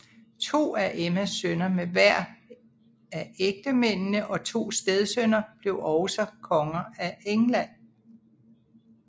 To af Emmas sønner med hver af ægtemændene og to stedsønner blev også konger af England